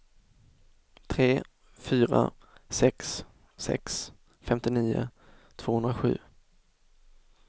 tre fyra sex sex femtionio tvåhundrasju